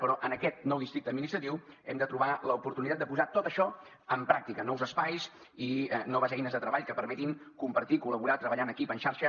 però en aquest nou districte administratiu hem de trobar l’oportunitat de posar tot això en pràctica nous espais i noves eines de treball que permetin compartir col·laborar treballar en equip en xarxa